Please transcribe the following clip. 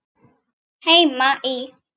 Heima í